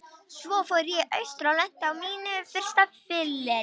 Svo fór ég austur og lenti á mínu fyrsta fylleríi.